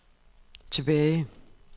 tilbage